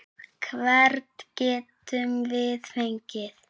Hvern getum við fengið?